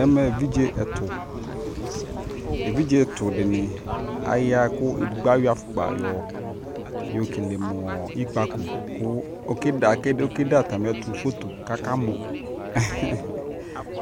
ɛmɛ ɛvidzɛ ɛtʋ, ɛvidzɛ ɛtʋ dini ayaa kʋ ɛdigbɔ ayɔ aƒʋkpa yɔ kɛlɛ mʋɔ ikpakɔ kʋ ɔkɛ dɛ atami ɛtʋ phɔtɔ kʋ aka mɔ,